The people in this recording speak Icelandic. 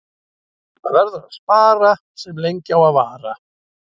Það verður að spara sem lengi á að vara.